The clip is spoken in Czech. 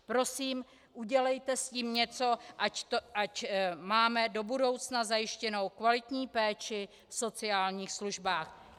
Prosím, udělejte s tím něco, ať máme do budoucna zajištěnou kvalitní péči v sociálních službách.